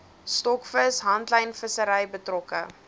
stokvis handlynvissery betrokke